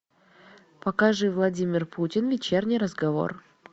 покажи владимир путин вечерний разговор